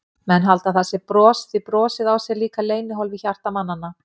Menn halda að það sé bros, því brosið á sér líka leynihólf í hjarta mannanna.